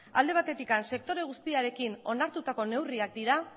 alde batetik sektore guztiarekin onartutako neurriak dira